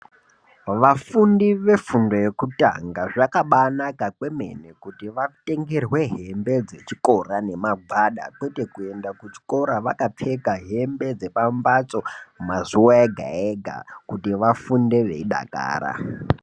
Vafundi vefundo yekutanga zvakambaa naka kwemene kuti vatengerwe hembe dzechikora nemagwada kwete kuenda kuchikora vakapfeka hembe dzepambatso mazuva ega ega kuti vafunde veidakara.